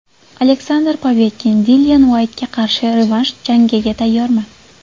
Aleksandr Povetkin: Dillian Uaytga qarshi revansh jangiga tayyorman.